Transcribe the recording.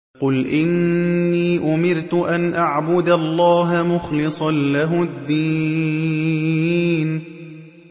قُلْ إِنِّي أُمِرْتُ أَنْ أَعْبُدَ اللَّهَ مُخْلِصًا لَّهُ الدِّينَ